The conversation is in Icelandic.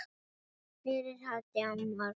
Fyrir hádegi á morgun.